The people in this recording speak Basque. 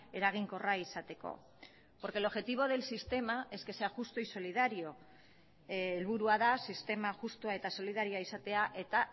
eraginkorra izateko porque el objetivo del sistema es que sea justo y solidario helburua da sistema justua eta solidarioa izatea eta